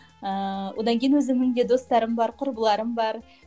ыыы одан кейін өзімнің де достарым бар құрбыларым бар